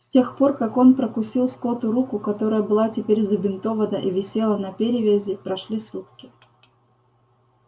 с тех пор как он прокусил скотту руку которая была теперь забинтована и висела на перевязи прошли сутки